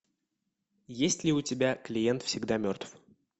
есть ли у тебя клиент всегда мертв